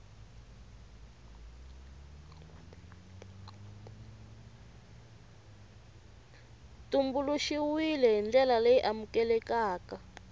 tumbuluxiwile hi ndlela leyi amukelekaka